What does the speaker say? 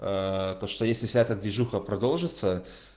то что если взять движуха продолжится